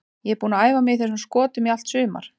Ég er búinn að æfa mig í þessum skotum í allt sumar.